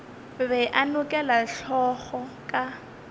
be a nokela hlogo ka